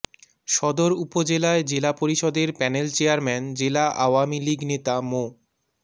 সদর উপজেলায় জেলা পরিষদের প্যানেল চেয়ারম্যান জেলা আওয়ামী লীগ নেতা মো